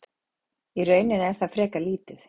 í rauninni er það frekar lítið